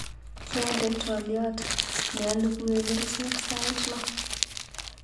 Kyande twaliot ne alukue kerichek sait loo.